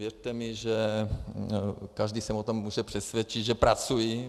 Věřte mi, že každý se o tom může přesvědčit, že pracuji.